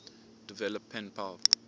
develop pen pal